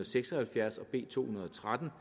seks og halvfjerds og b to hundrede og tretten